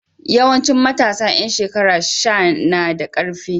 Yawanci matasa ƴan shekara sha na da ƙarfi.